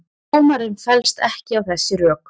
Dómarinn fellst ekki á þessi rök